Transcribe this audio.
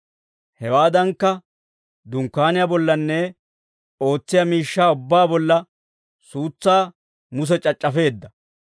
Hewaadankka, Dunkkaaniyaa bollanne ootsiyaa miishshaa ubbaa bolla suutsaa Muse c'ac'c'afeedda.